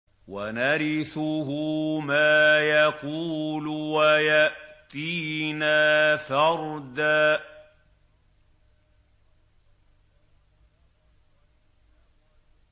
وَنَرِثُهُ مَا يَقُولُ وَيَأْتِينَا فَرْدًا